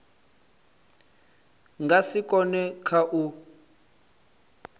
nga si kone kha u